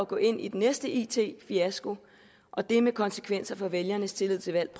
gå ind i den næste it fiasko og det med konsekvenser for vælgernes tillid til valg